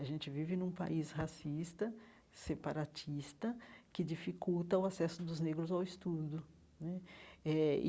A gente vive num país racista, separatista, que dificulta o acesso dos negros ao estudo né eh.